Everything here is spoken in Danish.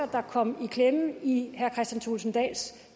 der kom i klemme i herre kristian thulesen dahls